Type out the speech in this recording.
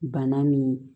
Bana min